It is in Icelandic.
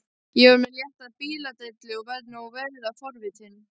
Ég er með létta bíladellu og verð nú verulega forvitin.